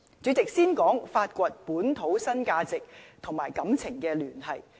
主席，先說發掘本土新價值與情感聯繫。